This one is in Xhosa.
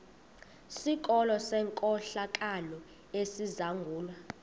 sikolo senkohlakalo esizangulwa